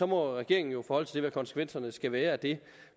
må regeringen jo forholde sig til hvad konsekvenserne skal være af det